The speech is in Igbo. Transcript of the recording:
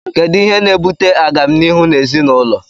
Kedụ ihe na - ebụte agamnihụ n' ezịnaụlọ?